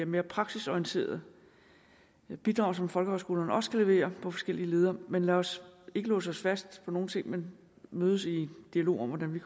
mere praksisorienterede bidrag som folkehøjskolerne også kan levere på forskellige leder men lad os ikke låse os fast på nogen ting men mødes i dialog om hvordan vi